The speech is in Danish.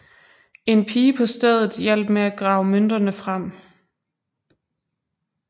En pige på stedet hjalp med at grave mønterne frem